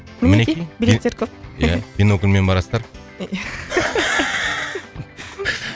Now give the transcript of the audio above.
мінекей билеттер көп ия бинокльмен барасыздар ия